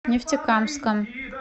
нефтекамском